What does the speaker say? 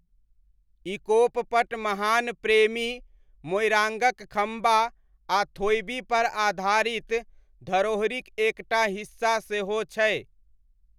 इकोप पट महान प्रेमी मोइराङ्गक खम्बा आ थोइबीपर आधारित धरोहरिक एकटा हिस्सा सेहो छै।